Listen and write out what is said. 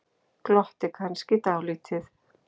Glotti kannski dálítið.